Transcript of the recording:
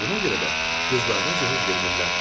Buna görə də qızlarına cehiz vermirlər.